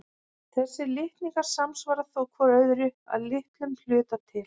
Þessir litningar samsvara þó hvor öðrum að litlum hluta til.